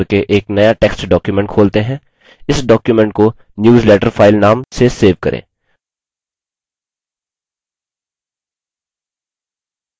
इस document को newsletter file नाम से सेव करें